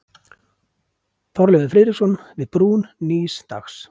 Þorleifur Friðriksson: Við brún nýs dags.